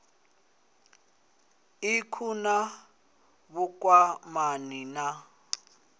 ik hu na vhukwamani na